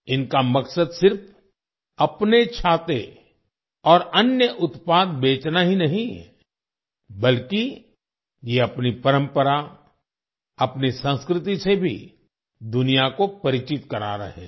इनका मकसद सिर्फ अपने छाते और अन्य उत्पाद बेचना ही नहीं बल्कि ये अपनी परंपरा अपनी संस्कृति से भी दुनिया को परिचित करा रहे हैं